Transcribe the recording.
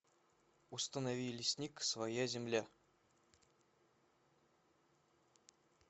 установи лесник своя земля